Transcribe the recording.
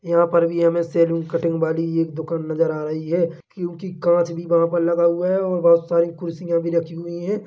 यहाँ पर भी हमे सैलून कटिंग वाली एक दुकान नजर आ रही है क्योंकि काँच भी वहाँ पर लगा हुआ है और बहोत सारी कुर्सीया भी रखी हुईं हैं।